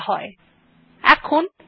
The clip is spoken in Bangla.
আপনি দেখতে পাচ্ছেন ফায়ারফক্স খুলে গেছে